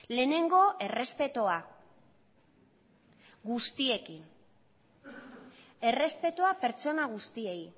lehenengo errespetua guztiekin errespetua pertsona guztiei